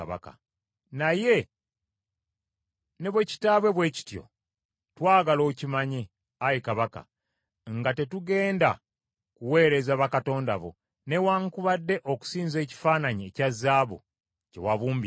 Naye ne bwe kitaabe bwe kityo, twagala okimanye, ayi kabaka nga tetugenda kuweereza bakatonda bo, newaakubadde okusinza ekifaananyi ekya zaabu kye wabumbisa.”